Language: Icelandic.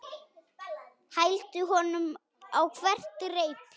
Hældi honum á hvert reipi.